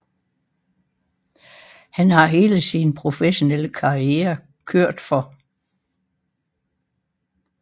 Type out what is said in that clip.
Han har hele sin professionelle karriere kørt for